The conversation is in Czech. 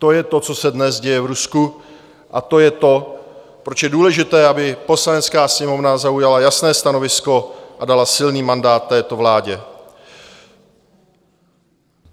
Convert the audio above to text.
To je to, co se dnes děje v Rusku, a to je to, proč je důležité, aby Poslanecká sněmovna zaujala jasné stanovisko a dala silný mandát této vládě.